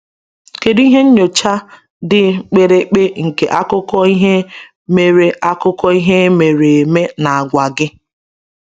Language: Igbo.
Kedu ihe nyocha dị mkpirikpi nke akụkọ ihe mere akụkọ ihe mere eme na-agwa gị?